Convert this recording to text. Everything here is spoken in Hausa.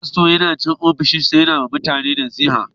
Fasto yana cikin ofishinsa yana yi ma mutane nasiha.